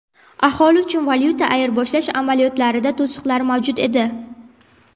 Aholi uchun valyuta ayirboshlash amaliyotlarida to‘siqlar mavjud edi.